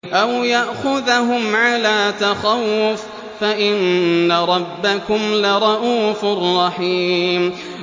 أَوْ يَأْخُذَهُمْ عَلَىٰ تَخَوُّفٍ فَإِنَّ رَبَّكُمْ لَرَءُوفٌ رَّحِيمٌ